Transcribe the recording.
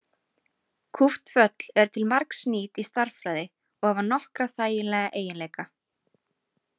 Kúpt föll eru til margs nýt í stærðfræði og hafa nokkra þægilega eiginleika.